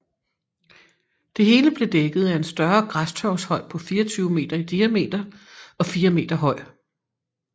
Det hele blev dækket af en større græstørvshøj på 24 m i diameter og 4 m høj